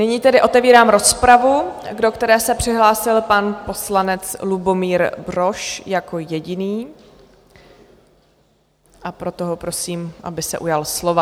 Nyní tedy otevírám rozpravu, do které se přihlásil pan poslanec Lubomír Brož jako jediný, a proto ho prosím, aby se ujal slova.